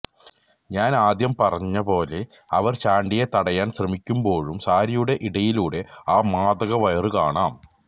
ഞാൻ ആദ്യം പറഞ്ഞപോലെ അവർ ചാണ്ടിയെ തടയാൻ ശ്രെമിക്കുമ്പോഴും സാരിയുടെ ഇടയിലൂടെ അ മാധകവയറു കാണാം